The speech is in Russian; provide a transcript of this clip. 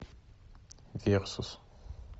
версус